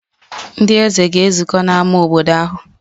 Ndị eze ga-ezukọ n'ámá obodo ahụ.